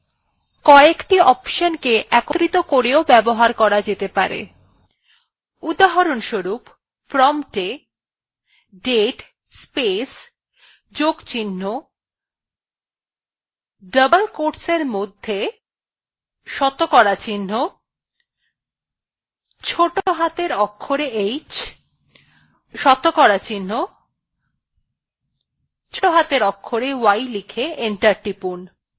উদাহরনস্বরুপ promptwe date space যোগ চিহ্ন double quotes we শতকরা চিহ্ন ছোটো হাতের অক্ষরে h শতকরা চিহ্ন ছোটো হাতের অক্ষরে y লিখে enter টিপুন